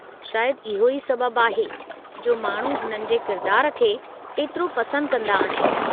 शायदि इहो ई सबबु आहे जो माण्हू हुननि जे किरदारु खे एतिरो पसंदि कंदा आहिनि।